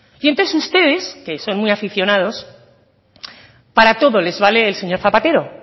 y entonces ustedes que son muy aficionados para todo les vale el señor zapatero